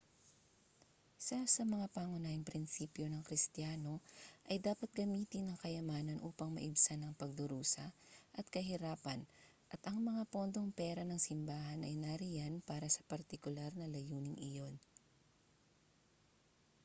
isa sa mga pangunahing prinsipyo ng kristiyano ay dapat gamitin ang kayamanan upang maibsan ang pagdurusa at kahirapan at ang mga pondong pera ng simbahan ay nariyan para sa partikular na layuning iyon